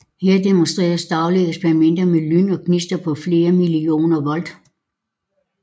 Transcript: Her demonstreres dagligt eksperimenter med lyn og gnister på flere millioner volt